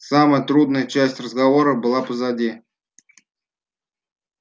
самая трудная часть разговора была позади